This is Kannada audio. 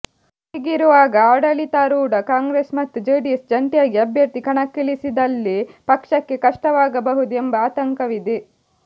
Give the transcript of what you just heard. ಹೀಗಿರುವಾಗ ಆಡಳಿತಾರೂಢ ಕಾಂಗ್ರೆಸ್ ಮತ್ತು ಜೆಡಿಎಸ್ ಜಂಟಿಯಾಗಿ ಅಭ್ಯರ್ಥಿ ಕಣಕ್ಕಿಳಿಸಿದಲ್ಲಿ ಪಕ್ಷಕ್ಕೆ ಕಷ್ಟವಾಗಬಹುದು ಎಂಬ ಆತಂಕವಿದೆ